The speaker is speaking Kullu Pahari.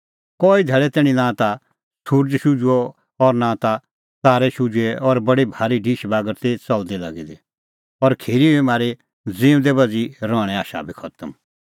कई धैल़ै तैणीं नां ता सुरज़ शुझुअ और नां ता तारै शुझुऐ और बडी भारी ढिश बागर ती च़लदी लागी दी और खिरी हुई म्हारी ज़िऊंदै बच़ी रहणें आशा बी खतम